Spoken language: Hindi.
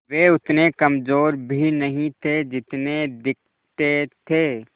वे उतने कमज़ोर भी नहीं थे जितने दिखते थे